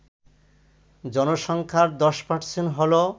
জনসংখ্যার ১০% হল